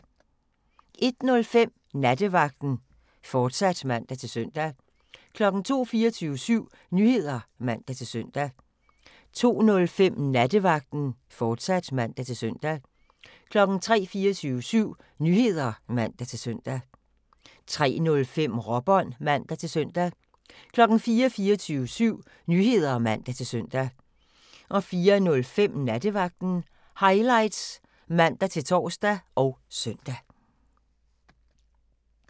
01:05: Nattevagten, fortsat (man-søn) 02:00: 24syv Nyheder (man-søn) 02:05: Nattevagten, fortsat (man-søn) 03:00: 24syv Nyheder (man-søn) 03:05: Råbånd (man-søn) 04:00: 24syv Nyheder (man-søn) 04:05: Nattevagten Highlights (man-tor og søn)